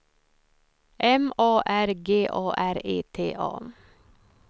M A R G A R E T A